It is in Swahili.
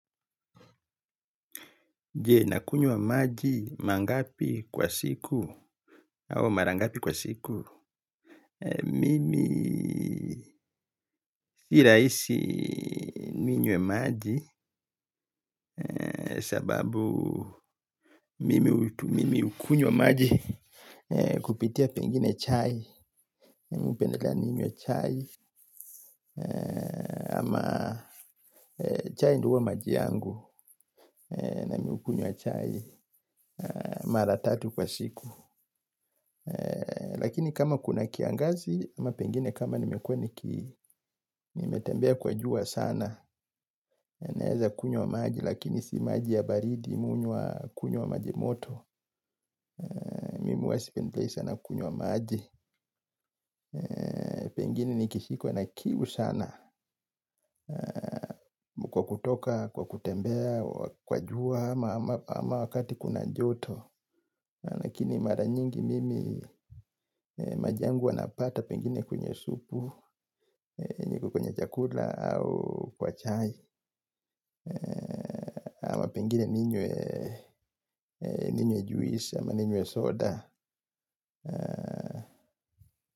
Je nakunywa maji mangapi kwa siku au marangapi kwa siku. Mimi nirahisi ninywe maji. Sababu mimi ukunywa maji kupitia pengine chai, ama chai ndio huwa maji yangu. Na mi ukunywa chai mara tatu kwa siku. Lakini kama kuna kiangazi ama pengine kama nimekuwa niki nimetembea kwa jua sana naeza kunywa maji lakini si maji ya baridi me hunywa kunywa wa majimoto. Mimi huwa sipendelei sana kunywa maji. Pengine nikishikwa na kiu sana kwa kutoka, kwa kutembea, kwa jua ama wakati kuna joto. Lakini mara nyingi mimi maji yangu huwa napata pengine kunywe supu iko kwenye chakula au kwa chai ama pengine ninywe juisi ama ninywe soda.